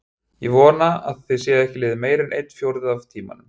Ég vona að það sé ekki liðinn meira en einn fjórði af tímanum.